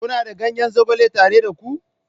Kuna da ganyen zogale tare da ku?